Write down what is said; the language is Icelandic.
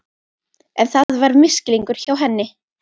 En það var misskilningur hjá henni.